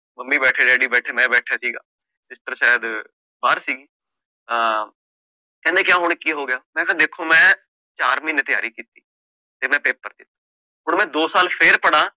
mummy ਬੈਠੇ, daddy ਬੈਠੇ, ਮੈਂ ਸੀਗਾ, sister ਸ਼ਾਇਦ ਬਾਹਰ ਸੀਗੇ, ਅ ਕਹਿੰਦੇ ਕਿਉਂ ਹੁਣ ਕਿ ਹੋ ਗਯਾ, ਮੈਂ ਵੇਖੋ ਮੈਂ ਚਾਰ ਮਹੀਨੇ ਤਿਆਰੀ ਕੀਤੀ, ਫੇਰ ਮੈਂ paper ਦੇਤੇ, ਹੁਣ ਮੈਂ ਦੋ ਸਾਲ ਫੇਰ ਪੜ੍ਹਾ